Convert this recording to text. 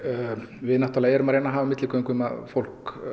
við náttúrulega erum að reyna að hafa milligöngu um að fólk